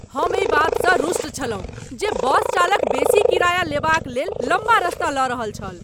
हम एहि बातसँ रुष्ट छलहुँ जे बस चालक बेसी किराया लेबाक लेल लम्बा रास्ता लऽ रहल छल।